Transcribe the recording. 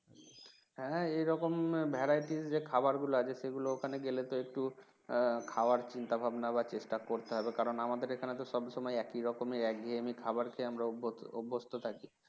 হ্যাঁ এরকম variety যে খাবার গুলো আছে সেগুলো ওখানে গেলে তো একটু খাবার চিন্তাভাবনা বা চেষ্টা করতে হবে কারণ আমাদের এখানে তো সব সময় একই রকম একঘেয়েমি খাবার খেয়ে আমরা অভ~ অভ্যস্ত থাকি